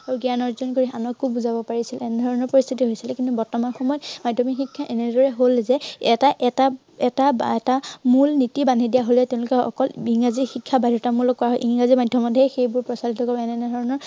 আৰু জ্ঞান আৰ্জন কৰি আনকো বুজাব পাৰিছিল। এনে ধৰনৰ পৰিস্থিতি হৈছিল। কিন্তু বৰ্তমান সময়ত মাধ্য়মিক শিক্ষা এনেধৰনৰ হল যে এটা, এটা এটা মূল নীতি বান্ধি দিয়া হলে তেওঁলোকে অকল ইংৰাজী শিক্ষা বাধ্য়তামূলক কৰা হল। ইংৰাজী মাধ্য়মতহে সেইবোৰ প্ৰচলিত কৰিম এনে ধৰনৰ